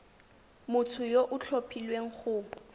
motho yo o tlhophilweng go